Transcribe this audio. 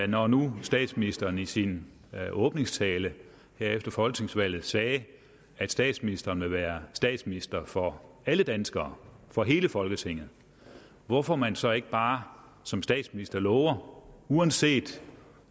når nu statsministeren i sin åbningstale her efter folketingsvalget sagde at statsministeren ville være statsminister for alle danskere for hele folketinget hvorfor man så ikke bare som statsminister lover uanset